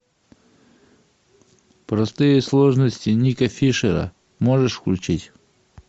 простые сложности ника фишера можешь включить